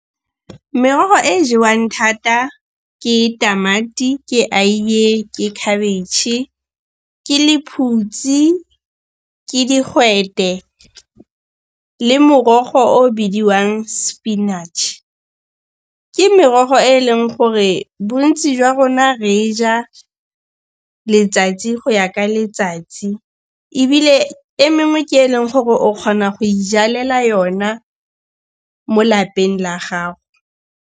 Merogo e e jewang thata ke tamati, ke aiye, ke khabitšhe, ke lephutsi, ke digwete le morogo o o bidiwang spinach. Ke merogo e leng gore bontsi jwa rona re e ja letsatsi go ya ka letsatsi ebile e mengwe ke e leng gore o kgona go ijalela yona mo lapeng la gago.